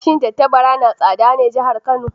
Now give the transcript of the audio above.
Shin tattabara na tsada ne jihar Kano?